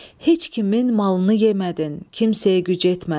Heç kimin malını yemədin, kimsəyə güc etmədin.